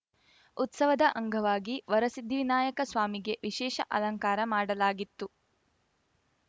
ಉತ್ಸವದ ಅಂಗವಾಗಿ ವರಸಿದ್ದಿವಿನಾಯಕ ಸ್ವಾಮಿಗೆ ವಿಷೇಶ ಅಲಂಕಾರ ಮಾಡಲಾಗಿತ್ತು